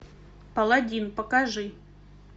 паладин покажи